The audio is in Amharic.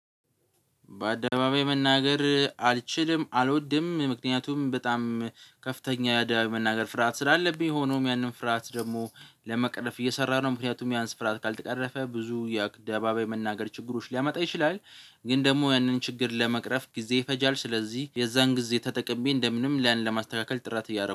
በአደባባይ መናገር አልችልም አልወድም ምክንያቱም በጣም ከፍተኛ በአደባባይ መናገር ፍርሃት ስላለብኝ ሆኖም ያንን ፍርሃት ደግሞ ለመቅረፍ እየሰራሁ ነው ምክንያቱም ያን ፍርሃት ካልተቀረፈ ብዙ የአደባባይ መናገር ችግሮች ሊያመጣ ይችላል። ግን ደግሞ ያንን ችግር ለመቅረፍ ጊዜ ይፈጃል ስለዚህ የዛን ጊዜ ተጠቅሜ እንደምንም ያን ለማስተካከል ጥረት እያደረኩ